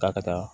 K'a ka taa